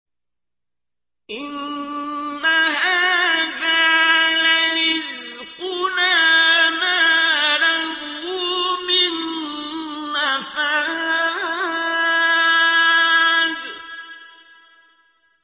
إِنَّ هَٰذَا لَرِزْقُنَا مَا لَهُ مِن نَّفَادٍ